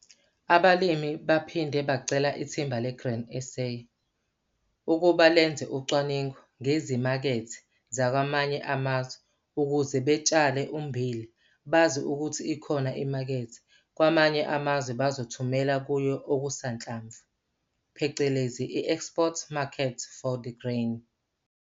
Abalimi baphinde bacela ithimba le-Grain SA ukuba lenze ucwaningo ngezimakethe zakwamanye amazwe ukuze betshale ummbila bazi ukuthi ikhona imakethe kwamanye amazwe abazothumela kuyo okusanhlamvu phecelezi i-export market for the grain.